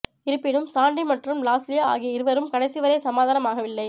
இருப்பினும் சாண்டி மற்றும் லாஸ்லியா ஆகிய இருவரும் கடைசிவரை சமாதானம் ஆகவில்லை